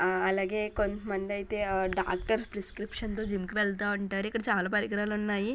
ఆ అలాగే కొంతమందైతే ఆ డాక్టర్ ప్రిస్క్రిప్షన్ తో జిమ్